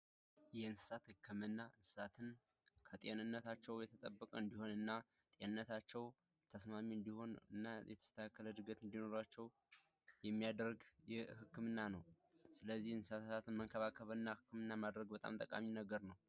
የእንስሳት ህክምና እንስሳትን ጤንነታቸውን የተጠበቀ እንዲሆን እና ጤንነታቸው እንዲረጋገጥ እና የተስተካከለ እድገት እንዲኖራቸው የሚያደርግ ህክምና ነው ስለዚህ እንስሳትን መንከባከብና ጤናን መጠበቅ በጣም ጠቃሚ ነገር ነው።